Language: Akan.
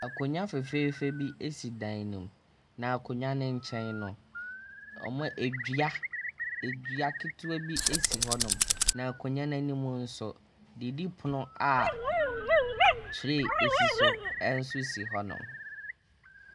Akonnwa fɛfɛɛ bi si dan no mu na akonnwa no nkyɛn no, ɔmo, dua ketewa bi si hɔ. Na akonnwa no anim nso, didipono a tree si so nso si hɔnom.